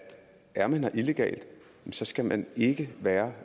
er man her illegalt så skal man ikke være